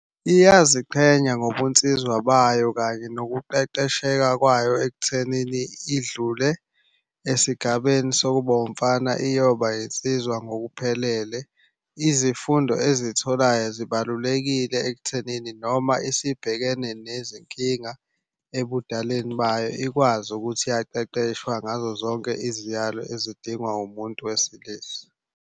Iyaziqhenya ngobunsizwa bayo kanye nokuqeqesheka kwayo ekuthenini idlule esigabeni sokuba umfana iyoba insizwa ngokuphelele. Izifundo ezitholayo zibalulekile ekuthenini noma isibhekene nezinkinga ebudaleni bayo. Ikwazi ukuthi yaqeqeshwa ngazo zonke iziyalo ezidingwa umuntu wesilisa.